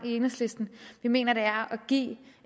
i enhedslisten vi mener det er at give